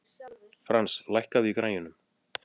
Frans, lækkaðu í græjunum.